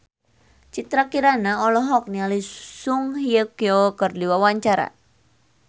Citra Kirana olohok ningali Song Hye Kyo keur diwawancara